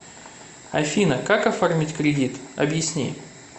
афина как оформить кредит объясни